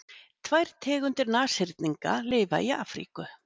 Tvær tegundir nashyrninga lifa í Afríku.